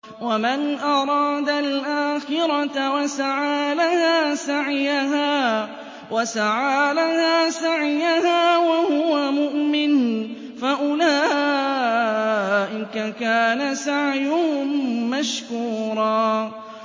وَمَنْ أَرَادَ الْآخِرَةَ وَسَعَىٰ لَهَا سَعْيَهَا وَهُوَ مُؤْمِنٌ فَأُولَٰئِكَ كَانَ سَعْيُهُم مَّشْكُورًا